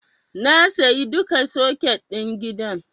Na sayi duka soket ɗin gidan.